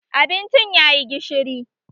Abincin ya yi gishiri